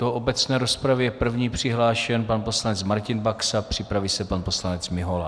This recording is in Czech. Do obecné rozpravy je první přihlášen pan poslanec Martin Baxa, připraví se pan poslanec Mihola.